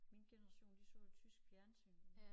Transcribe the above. Min generation de så jo tysk fjernsyn